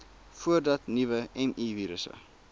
voordat nuwe mivirusse